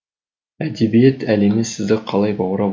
әдебиет әлемі сізді қалай баурап алды